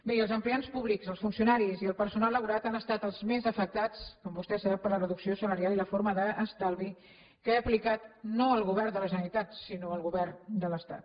miri els empleats públics els funcionaris i el personal laboral han estat els més afectats com vostè sap per la reducció salarial i la forma d’estalvi que ha aplicat no el govern de la generalitat sinó el govern de l’estat